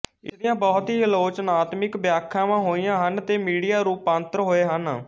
ਇਸ ਦੀਆਂ ਬਹੁਤ ਹੀ ਆਲੋਚਨਾਤਮਿਕ ਵਿਆਖਿਆਵਾਂ ਹੋਈਆਂ ਹਨ ਤੇ ਮੀਡੀਆ ਰੂਪਾਂਤਰ ਹੋਏ ਹਨ